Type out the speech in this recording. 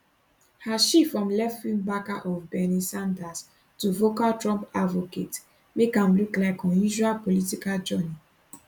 her shift from leftwing backer of bernie sanders to vocal trump advocate make am look like unusual political journey